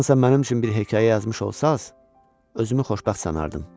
Haçansa mənim üçün bir hekayə yazmış olsanız, özümü xoşbəxt sanardım.